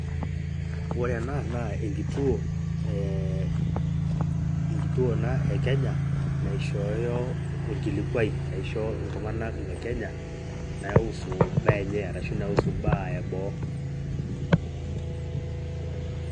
Ore enaa naa enkituo ,eeh enkituo ena ekenya naishoyo orkilikuwai aisho iltunganak lekenya naiusu imbaa enye orashu imbaa enye orashu naiusu imbaa eboo.